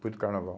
Foi do carnaval.